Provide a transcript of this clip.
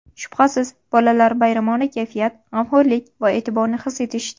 Shubhasiz, bolalar bayramona kayfiyat, g‘amxo‘rlik va e’tiborni his etishdi.